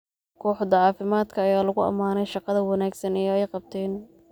Kooxda caafimaadka ayaa lagu ammaanay shaqada wanaagsan ee ay qabteen.